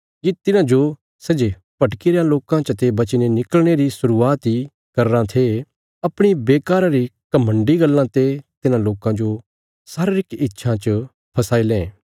ये तिन्हांजो सै जे भटकीरेयां लोकां चाते बचीने निकल़णे री शुरुआत इ करीराँ थे अपणी बेकारा री घमण्डी गल्लां ते तिन्हां लोकां जो शारीरिक इच्छां च फसाई लें